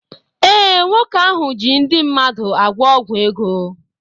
Ee, nwoke ahụ ji ndị mmadụ agwọ ọgwụ ego